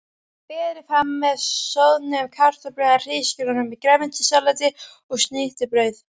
Berið fram með soðnum kartöflum eða hrísgrjónum, grænmetissalati og snittubrauði.